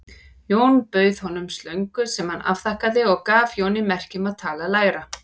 Jón bauð honum slöngu sem hann afþakkaði og gaf Jóni merki um að tala lægra.